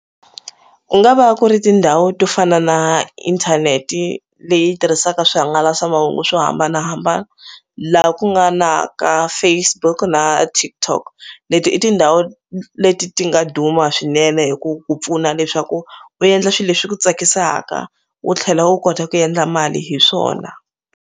Ku nga va ku ri tindhawu to fana na inthaneti leyi tirhisaka swihangalasamahungu swo hambanahambana laha ku nga na ka Facebook na TikTok leti i tindhawu leti ti nga duma swinene hi ku ku pfuna leswaku u endla swi leswi swi ku tsakisaka u tlhela u kota ku yendla mali hi swona.